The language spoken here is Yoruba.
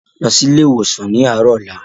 Lọ sí ilé ìwòsàn ni arọ ọ̀la!